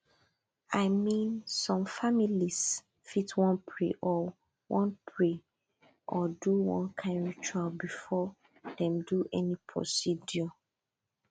i mean some families fit wan pray or wan pray or do one kind ritual before dem do any procedure